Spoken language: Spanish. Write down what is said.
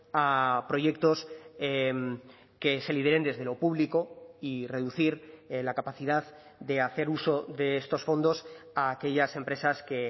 a proyectos que se lideren desde lo público y reducir la capacidad de hacer uso de estos fondos a aquellas empresas que